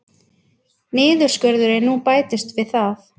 Niðurskurðurinn nú bætist við það